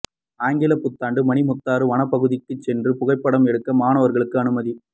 ஆங்கிலப் புத்தாண்டு மணிமுத்தாறு வனப் பகுதிக்குச் சென்று புகைப்படம் எடுக்க மாணவா்களுக்கு அனுமதி